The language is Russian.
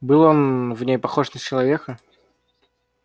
был он в ней похож на человека